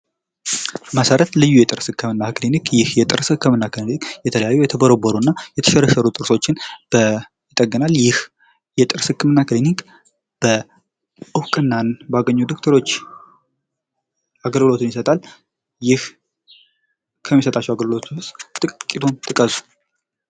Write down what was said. መሰረት ልዩ የጥርስ ህክምና ክሊንክ። ይህ የጥርስ ህክምና ክሊኒክ የተለያዩ የተቦረቦሩና የሰሸረሸሩ ጥርሶችን ይጠግናል። ይህ የጥርስ ህክምና ክሊኒክ እውቅና ባገኙ ዶክተሮች አገልግሎትን ይሰጣል። ይህ ከሚሰጣቸው አገልግሎቶች ውስጥ ጥቂቱን ጥቀስ።